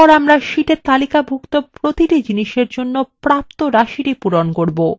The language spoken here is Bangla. এরপর আমরা শীটে তালিকাভুক্ত প্রতিটি জিনিসের জন্য প্রাপ্ত রাশিটি পূরণ করব